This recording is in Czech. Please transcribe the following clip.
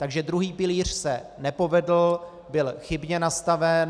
Takže druhý pilíř se nepovedl, byl chybně nastaven.